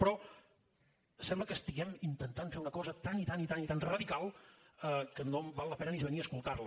però sembla que estiguem intentant fer una cosa tan i tan i tan radical que no val la pena ni venir a escoltar la